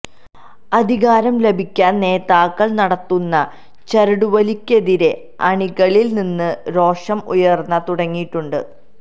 അധികാരം ലഭിക്കാന് നേതാക്കള് നടത്തുന്ന ചരടുവലിക്കെതിരെ അണികളില് നിന്ന് രോഷം ഉയര്ന്ന് തുടങ്ങിയിട്ടുണ്ട്